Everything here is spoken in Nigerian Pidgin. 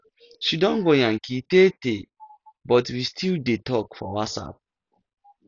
she don go yankee tee tee but we still dey talk for whatsapp